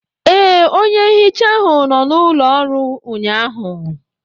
Ee, onye nhicha ahụ nọ n'ụlọ ọrụ ụnyaahụ